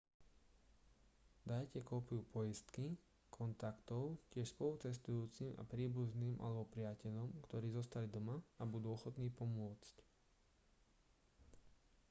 dajte kópiu poistky/kontaktov tiež spolucestujúcim a príbuzným alebo priateľom ktorí zostali doma a budú ochotní pomôcť